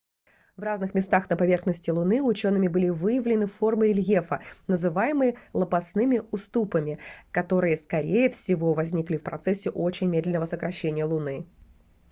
в разных местах на поверхности луны учеными были выявлены формы рельефа называемые лопастными уступами которые скорей всего возникли в процессе очень медленного сокращения луны